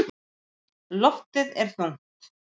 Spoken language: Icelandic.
Loftið er þungt.